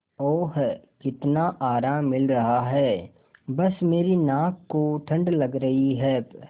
ओह कितना आराम मिल रहा है बस मेरी नाक को ठंड लग रही है प्